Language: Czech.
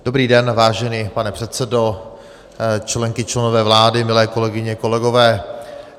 Dobrý den vážený pane předsedo, členky, členové vlády, milé kolegyně, kolegové.